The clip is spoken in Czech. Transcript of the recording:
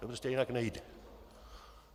To prostě jinak nejde.